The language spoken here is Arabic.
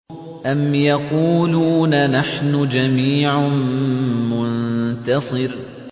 أَمْ يَقُولُونَ نَحْنُ جَمِيعٌ مُّنتَصِرٌ